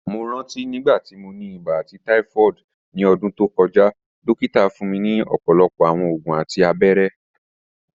Mo ranti nigbati mo ni iba ati typhoid ni ọdun to kọja, dokita fun mi ọpọlọpọ awọn oògùn ati abẹrẹ